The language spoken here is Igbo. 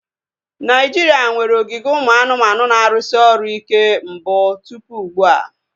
Naijiria nwere ogige ụmụ anụmanụ na-arụsị ọrụ ike mbụ tụpụ ugbua